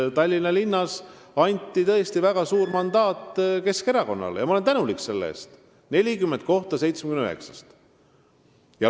Tallinnas anti tõesti väga suur mandaat Keskerakonnale, 40 kohta 79-st, ja ma olen selle eest tänulik.